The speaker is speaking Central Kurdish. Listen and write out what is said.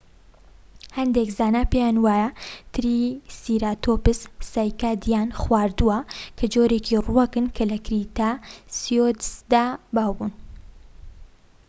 هەندێک زانا پێیان وایە تریسیراتۆپس سایکادیان خواردوە، کە جۆرێکى ڕووەکن کە لە کریتاسیۆسدا باو بوونە‎